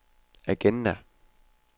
agenda